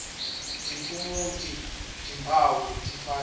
tiphumuti timphawu letifanele